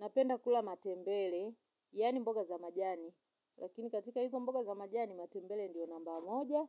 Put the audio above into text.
Napenda kula matembele, yani mboga za majani, lakini katika hizo mboga za majani, matembele ndio namba moja,